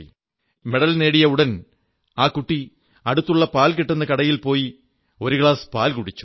Rajani medal നേടിയ ഉടൻ ആ കുട്ടി അടുത്തുള്ള പാൽ കിട്ടുന്ന കടയിൽ പോയി ഒരു ഗ്ലാസ് പാൽ കുടിച്ചു